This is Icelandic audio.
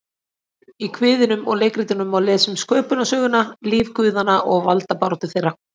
Í kviðunum og leikritunum má lesa um sköpunarsöguna, líf guðanna og valdabaráttu þeirra.